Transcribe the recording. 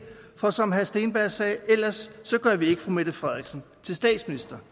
for som herre andreas steenberg sagde ellers gør vi ikke fru mette frederiksen til statsminister